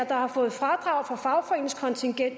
der har fået fradrag for fagforeningskontingent